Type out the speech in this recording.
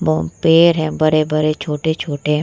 बोहत पेड़ है बड़े-बड़े छोटे-छोटे